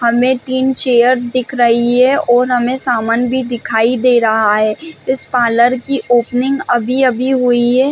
हमे तीन चेयर्स दिख रही है और हमें सामान भी दिखाई दे रहा है इस पार्लर की ओपनिंग अभी अभी हुई है।